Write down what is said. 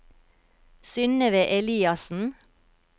Synnøve Eliassen